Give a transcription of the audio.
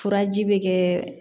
Furaji bɛ kɛ